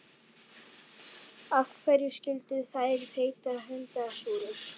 Af hverju skyldu þær heita hundasúrur?